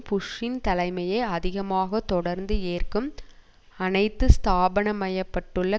புஷ்ஷின் தலைமையை அதிகமாக தொடர்ந்து ஏற்கும் அனைத்து ஸ்தாபனமயப்பட்டுள்ள